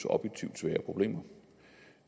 objektivt svære problemer